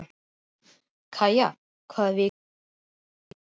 Kaja, hvaða vikudagur er í dag?